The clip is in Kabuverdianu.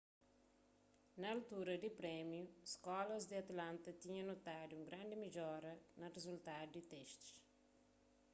na altura di prémiu skólas di atlanta tinha notadu un grandi midjora na rizultadu di testis